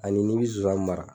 Ani n'i bɛ zozani mara.